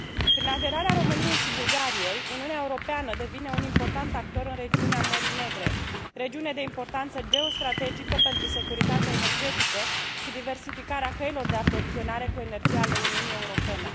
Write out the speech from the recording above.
Prin aderarea României și Bulgariei, Uniunea Europeană devine un important actor în regiunea Mării Negre, regiune de importanță geostrategică pentru securitatea energetică și diversificarea căilor de aprovizionare cu energie a Uniunii Europene.